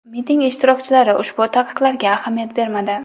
Miting ishtirokchilari ushbu taqiqlarga ahamiyat bermadi.